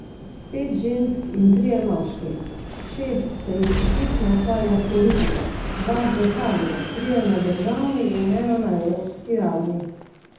Pet žensk in trije moški, šest se jih poklicno ukvarja s politiko, dva z lokalno, trije na državni in ena na evropski ravni.